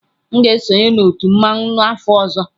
M ga-esonye na otu mmanwu n'afọ ọzọ.